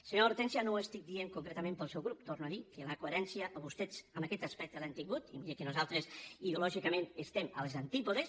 senyora hortènsia no ho estic dient concretament pel seu grup torno a dir que la coherència vostès en aquest aspecte l’han tingut i miri que nosaltres ideològicament estem als antípodes